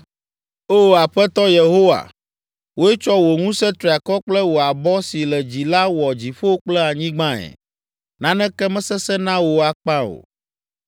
“O, Aƒetɔ Yehowa, wòe tsɔ wò ŋusẽ triakɔ kple wò abɔ si le dzi la wɔ dziƒo kple anyigbae. Naneke mesesẽ na wò akpa o.